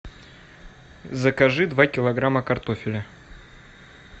закажи два килограмма картофеля